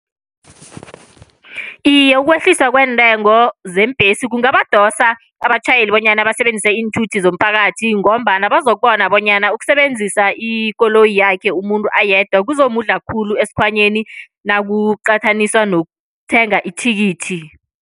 Iye, ukwehliswa kweentengo zeembhesi kungabadosa abatjhayeli bonyana basebenzise iinthuthi zomphakathi. Ngombana bazokubona bonyana ukusebenzisa ikoloyi yakhe umuntu ayedwa kuzomudla khulu esikhwanyeni, nakuqathaniswa nokuthenga ithikithi.